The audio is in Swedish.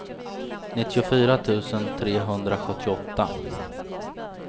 nittiofyra tusen trehundrasjuttioåtta